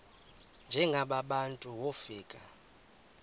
njengaba bantu wofika